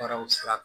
Baaraw sira kan